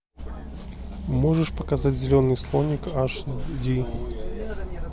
можешь показать зеленый слоник аш ди